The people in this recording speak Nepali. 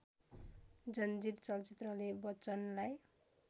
जंजीर चलचित्रले बच्चनलाई